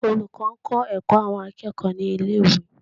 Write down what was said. Olùkọ́ ń kọ́ ẹ̀kọ́ àwọn akẹ́kọ̀ọ́ ní ilé ìwé.